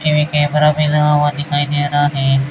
नीचे भी कैमरा भी लगा हुआ दिखाई दे रहा है।